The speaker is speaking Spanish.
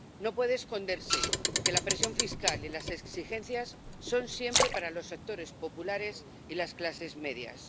No puede esconderse que la presión fiscal y las exigencias son siempre para los sectores populares y las clases medias.